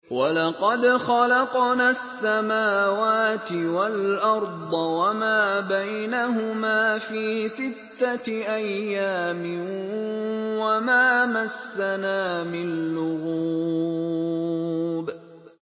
وَلَقَدْ خَلَقْنَا السَّمَاوَاتِ وَالْأَرْضَ وَمَا بَيْنَهُمَا فِي سِتَّةِ أَيَّامٍ وَمَا مَسَّنَا مِن لُّغُوبٍ